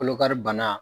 Kolokari bana